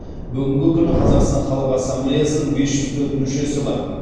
бүгінгі күні қазақстан халық ассамблеясының бес жүз төрт мүшесі бар